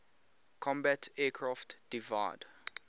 combat aircraft divide